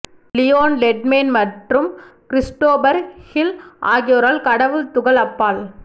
Leon Lederman மற்றும் Christopher Hill ஆகியோரால் கடவுள் துகள் அப்பால்